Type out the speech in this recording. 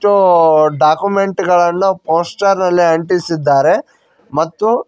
ಊ ಡಾಕುಮೆಂಟ್ ಗಳನ್ನು ಪೋಸ್ಟರ್ ನಲ್ಲಿ ಅಂಟಿಸಿದ್ದಾರೆ ಮತ್ತು--